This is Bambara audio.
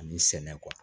Ani sɛnɛ